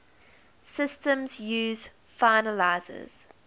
systems use finalizers